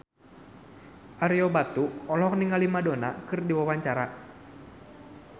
Ario Batu olohok ningali Madonna keur diwawancara